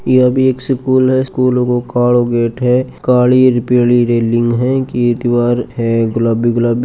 या भी स्कूल है यो स्कूल को कालों गेट है काली र पीली रेलिंग है इनकी दीवार है गुलाबी गुलाबी।